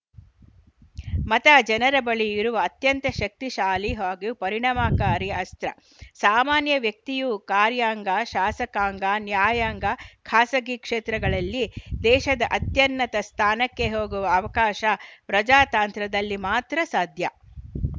ಮತ ಜನರ ಬಳಿ ಇರುವ ಅತ್ಯಂತ ಶಕ್ತಿಶಾಲಿ ಹಾಗೂ ಪರಿಣಾಮಕಾರಿ ಅಸ್ತ್ರ ಸಾಮಾನ್ಯ ವ್ಯಕ್ತಿಯೂ ಕಾರ್ಯಾಂಗ ಶಾಸಕಾಂಗ ನ್ಯಾಯಾಂಗ ಖಾಸಗಿ ಕ್ಷೇತ್ರಗಳಲ್ಲಿ ದೇಶದ ಅತ್ಯನ್ನತ ಸ್ಥಾನಕ್ಕೆ ಹೋಗುವ ಅವಕಾಶ ಪ್ರಜಾತಾಂತ್ರದಲ್ಲಿ ಮಾತ್ರ ಸಾಧ್ಯ